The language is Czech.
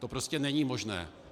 To prostě není možné.